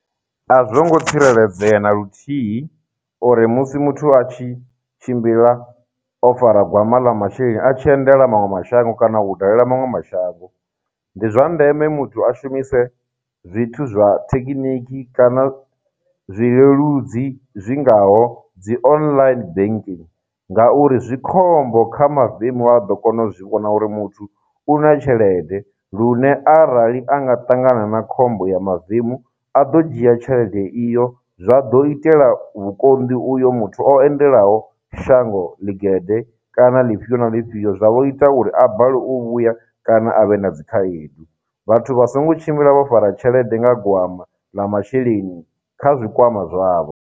A zwongo tsireledzea na luthihi uri musi muthu a tshi tshimbila o fara gwama ḽa masheleni a tshi endela maṅwe mashango kana u dalela maṅwe mashango, ndi zwa ndeme muthu a shumise zwithu zwa thekiniki kana zwi leludzi zwi ngaho dzi online banking ngauri, zwi khombo kha mavemu a ḓo kona u zwi vhona uri muthu u na tshelede, lune arali a nga ṱangana na khombo ya mavemu, a ḓo dzhia tshelede iyo, zwa ḓo itela vhukonḓi uyo muthu o endelaho shango ḽigede kana ḽifhio na ḽifhio, zwa vho ita uri a balelwe u vhuya kana a vhe na dzikhaedu. Vhathu vha songo tshimbila vho fara tshelede nga gwama ḽa masheleni kha zwikwama zwavho.